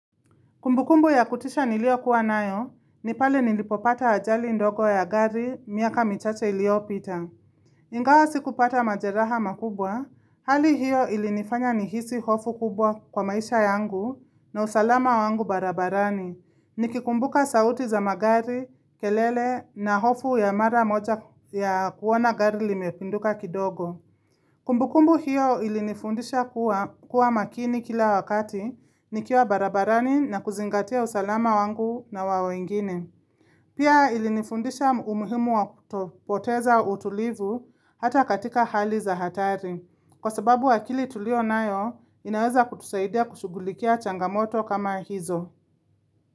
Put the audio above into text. Kumbukumbu ya kutisha nilio kuwa nayo, nipale nilipopata ajali ndogo ya gari miaka michache iliopita. Ingawa sikupata majeraha makubwa, hali hiyo ilinifanya nihisi hofu kubwa kwa maisha yangu na usalama wangu barabarani. Nikikumbuka sauti za magari, kelele na hofu ya mara moja ya kuona gari limepinduka kidogo. Kumbukumbu hiyo ilinifundisha kuwa makini kila wakati nikiwa barabarani na kuzingatia usalama wangu na wawengine. Pia ilinifundisha umuhimu wakuto poteza utulivu hata katika hali za hatari. Kwa sababu akili tulio nayo inaweza kutusaidia kushugulikia changamoto kama hizo.